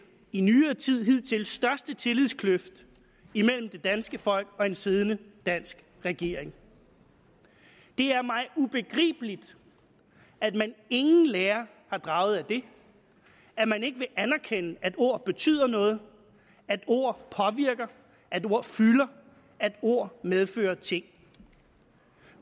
i nyere tid hidtil største tillidskløft imellem det danske folk og en siddende dansk regering det er mig ubegribeligt at man ingen lære har draget af det at man ikke vil anerkende at ord betyder noget at ord påvirker at ord fylder at ord medfører ting